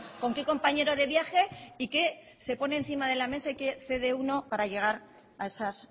con qué compañero de viaje y qué se pone encima de la mesa y qué cede uno para llegar a esas